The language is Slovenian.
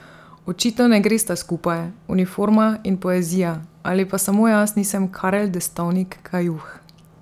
Očitno ne gresta skupaj, uniforma in poezija, ali pa samo jaz nisem Karel Destovnik Kajuh.